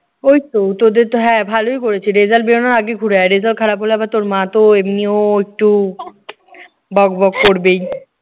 ওইতো তোদেরতো হ্যাঁ ভালোই করেছে result বেরুনোর আগেই ঘুরে আয়। result খারাপ হলে আবার তোর মাতো এমনিও একটু বকবক করবেই।